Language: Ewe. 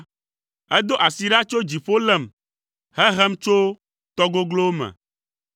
Edo asi ɖa tso dziƒo lém, Heɖem tso tɔ goglowo me.